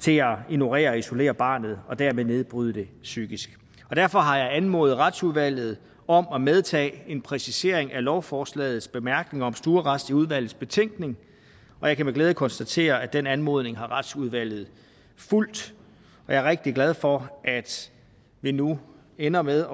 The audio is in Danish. til at ignorere og isolere barnet og dermed nedbryde det psykisk derfor har jeg anmodet retsudvalget om at medtage en præcisering af lovforslagets bemærkninger om stuearrest i udvalgets betænkning og jeg kan med glæde konstatere at den anmodning har retsudvalget fulgt jeg er rigtig glad for at vi nu ender med